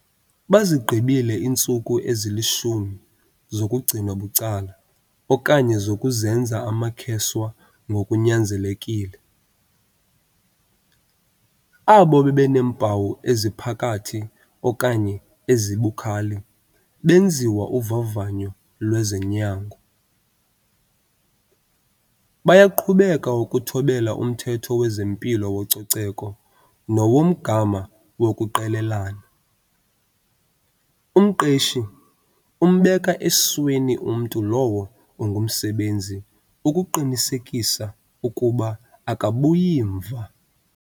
Bazigqibile iintsuku ezili-10 zokugcinwa bucala okanye zokuzenza amakheswa ngokunyanzelekile. Abo bebeneempawu eziphakathi okanye ezibukhali benziwa uvavanyo lwezonyango. Bayaqhubeka ukuthobela umthetho wezempilo wococeko nowomgama wokuqelelana. Umqeshi umbeka esweni umntu lowo ungumsebenzi ukuqinisekisa ukuba akabuyi mva.